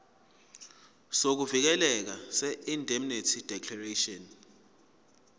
sokuvikeleka seindemnity declaration